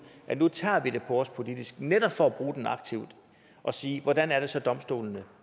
at nu tager vi det på os politisk netop for at bruge den aktivt og sige hvordan er det så domstolene